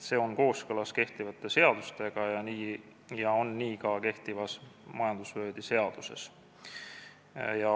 See on kooskõlas kehtivate seadustega ja nii on kirjas ka kehtivas majandusvööndi seaduses.